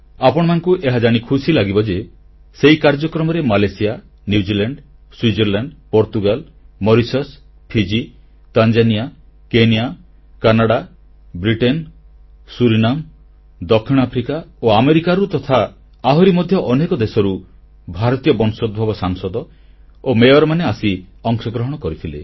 ଆପଣମାନଙ୍କୁ ଏହାଜାଣି ଖୁସି ଲାଗିବ ଯେ ସେହି କାର୍ଯ୍ୟକ୍ରମରେ Malaysia New Zealand Switzerland Portugal Mauritius Fiji Tanzania Kenya Canada Britain Suriname ଦକ୍ଷିଣଆଫ୍ରିକା ଓ ଆମେରିକାରୁ ତଥା ଆହୁରି ମଧ୍ୟ ଅନେକ ଦେଶରୁ ଭାରତୀୟ ବଂଶୋଦ୍ଭବ ସାଂସଦ ଓ ମେୟରମାନେ ଆସି ଅଂଶଗ୍ରହଣ କରିଥିଲେ